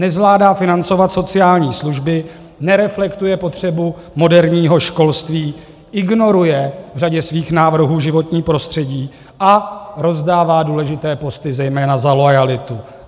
Nezvládá financovat sociální služby, nereflektuje potřebu moderního školství, ignoruje v řadě svých návrhů životní prostředí a rozdává důležité posty zejména za loajalitu.